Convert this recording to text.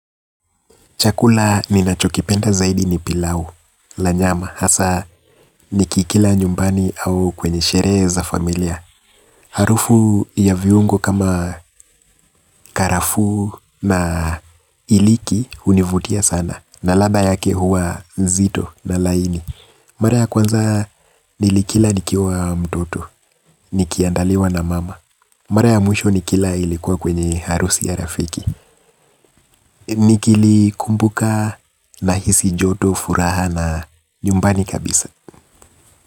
Chakula ninachokipenda zaidi ni pilau la nyama hasa nikikila nyumbani au kwenye sherehe za familia. Harufu ya viungo kama karafuu na iliki hunivutia sana na ladha yake huwa nzito na laini. Mara ya kwanza nilikila nikiwa mtoto, nikiandaliwa na mama. Mara ya mwisho nikila ilikuwa kwenye harusi ya rafiki. Nikilikumbuka nahisi joto, furaha na nyumbani kabisa.